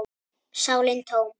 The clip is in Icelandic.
sálin tóm.